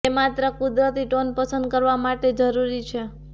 તે માત્ર કુદરતી ટોન પસંદ કરવા માટે જરૂરી છે